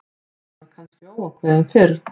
Hann var kannski óákveðinn fyrir.